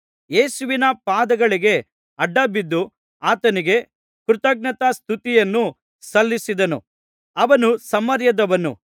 ಯೇಸುವಿನ ಪಾದಗಳಿಗೆ ಅಡ್ಡಬಿದ್ದು ಆತನಿಗೆ ಕೃತಜ್ಞತಾಸುತ್ತಿಯನ್ನು ಸಲ್ಲಿಸಿದನು ಅವನು ಸಮಾರ್ಯದವನು